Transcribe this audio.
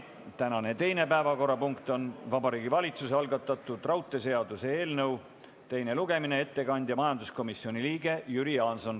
Tänane teine päevakorrapunkt on Vabariigi Valitsuse algatatud raudteeseaduse eelnõu teine lugemine ja ettekandja majanduskomisjoni liige Jüri Jaanson.